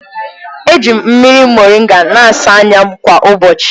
Eji m mmiri moringa na-asa anya m kwa ụbọchị.